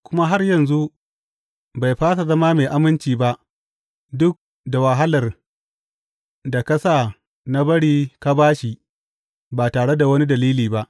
Kuma har yanzu bai fasa zama mai aminci ba duk da wahalar da ka sa na bari ka ba shi ba tare da wani dalili ba.